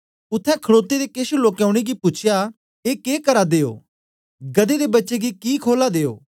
उत्थें खडोते दे केछ लोकें उनेंगी पूछया ए के करा दे ओ गदहे दे बच्चे गी कि खोलां दे ओ